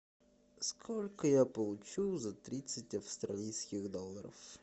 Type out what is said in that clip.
сколько я получу за тридцать австралийских долларов